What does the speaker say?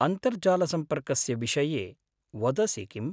अन्तर्जालसम्पर्कस्य विषये वदसि किम्?